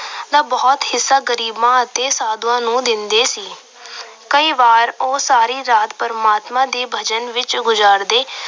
ਦਾ ਬਹੁਤ ਹਿੱਸਾ ਗਰੀਬਾਂ ਅਤੇ ਸਾਧੂਆਂ ਨੂੰ ਦਿੰਦੇ ਸੀ। ਕਈ ਵਾਰ ਉਹ ਸਾਰੀ ਰਾਤ ਪਰਮਾਤਮਾ ਦੇ ਭਜਨ ਵਿੱਚ ਗੁਜਾਰਦੇ।